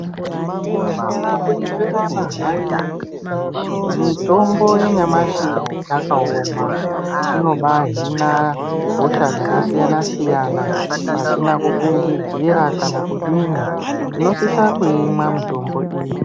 Pasina kunyeperana hai mitombo yanyamashi yakawoma inombahina hosha dzakasiyana siyana pasina kufungidzira kana kudini tinosisa kuimwa mitombo.